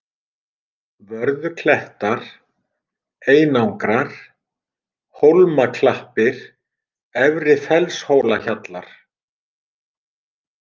Vörðuklettar, Einangrar, Hólmaklappir, Efri-Fellshólahjallar